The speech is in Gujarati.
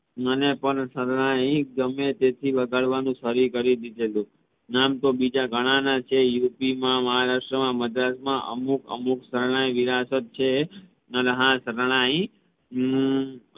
મને પણ શરણાઈ ગમે તેથી વગાડવાનું શરુ કરી દીધેલું નામ તો બીજા ઘણા ના છે UP માં મહારાષ્ટ્ર માં મદ્રાસ માં અમુક અમુક શરણાઈ વેરાસત છે તથા શરણાઈ અમ